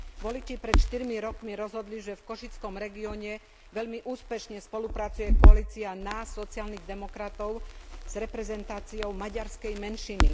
Voliči pred štyrmi rokmi rozhodli, že v košickom regióne veľmi úspešne spolupracuje koalícia nás sociálnych demokratov s reprezentáciou maďarskej menšiny.